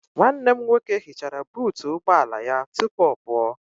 Nwanne m nwoke hichara buutu ụgbọala ya tupu ọ pụọ.